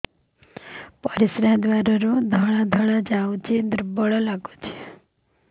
ପରିଶ୍ରା ଦ୍ୱାର ରୁ ଧଳା ଧଳା ଯାଉଚି ଦୁର୍ବଳ ଲାଗୁଚି